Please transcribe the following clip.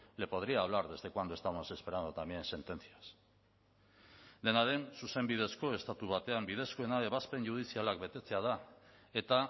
le podría hablar desde cuándo estamos esperando también sentencias dena den zuzenbidezko estatu batean bidezkoena ebazpen judizialak betetzea da eta